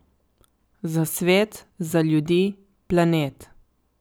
Za svet, za ljudi, planet.